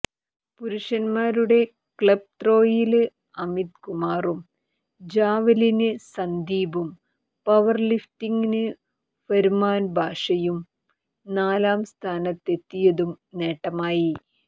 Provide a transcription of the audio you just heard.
പുരുഷന്മാരുടെ ക്ലബ്ത്രോയില് അമിത് കുമാറും ജാവലിനില് സന്ദീപും പവര്ലിഫ്റ്റിങ്ങില് ഫര്മാന് ബാഷയും നാലാം സ്ഥാനത്തത്തെിയതും നേട്ടമായി